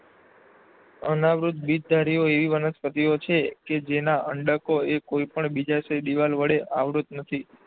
અનાવૃત્ત બીજધારીઓ એવી વનસ્પતિઓ છે કે જેના અંડકો એ કોઈ પણ બીજાશય દીવાલ વડે આવૃત્ત નથી.